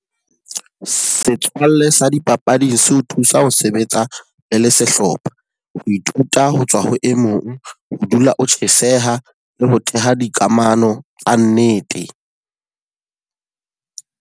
Setswalle sa dipapading se ho thusa ho sebetsa le le sehlopha. Ho ithuta ho tswa ho e mong, ho dula o tjheseha le ho theha dikamano tsa nnete.